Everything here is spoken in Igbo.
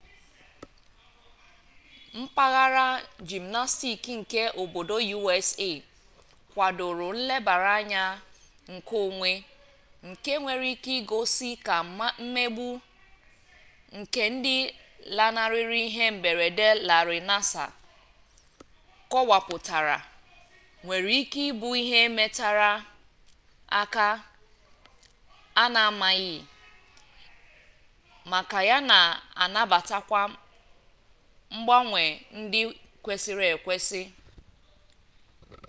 mpaghara jimnasktik nke obodo usa kwadoro nlebara anya nke onwe nke nwere ike igosi ka mmegbu nke ndị lanarịrị ihe mberede larị nassar kọwapụtara nwere ike ịbụ ihe metere aka a na-amaghị maka ya na anabatakwa mgbanwe ndị kwesịrị ekwesị